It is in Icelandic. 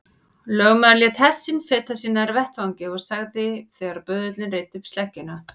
Í grískri heimspeki gegna sálir mikilvægu og margvíslegu hlutverki.